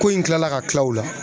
Ko in kilala ka kila u la